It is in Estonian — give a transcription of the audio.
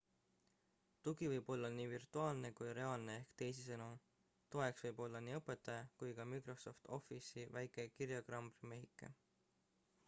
tugi võib olla nii virtuaalne kui reaalne ehk teisisõnu toeks võib olla nii õpetaja kui ka microsoft office'i väike kirjaklambri-mehike